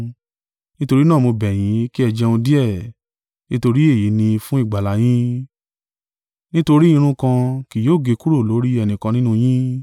Nítorí náà mo bẹ̀ yín, kí ẹ jẹun díẹ̀, nítorí èyí ni fún ìgbàlà yín: nítorí irun kan kí yóò gé kúrò lórí ẹnìkan nínú yín.”